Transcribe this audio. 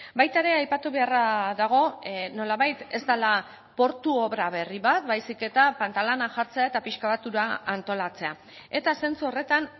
baita ere aipatu beharra dago nolabait ez dela portu obra berri bat baizik eta pantalana jartzea eta pixka bat ura antolatzea eta zentzu horretan